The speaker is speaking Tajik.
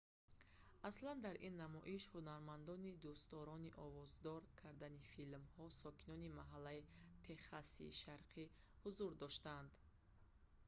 аслан дар ин намоиш ҳунармандони дӯстдорони овоздор кардани филмҳо сокинони маҳаллии техаси шарқӣ ҳузур доштанд